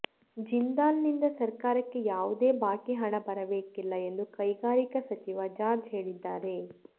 ಜಿಂದಾಲ್ ನಿಂದ ಸರ್ಕಾರಕ್ಕೆ ಯಾವುದೇ ಬಾಕಿ ಹಣ ಬರಬೇಕಿಲ್ಲ ಎಂದು ಕೈಗಾರಿಕಾ ಸಚಿವ ಜಾರ್ಜ್ ಹೇಳಿದ್ದಾರೆ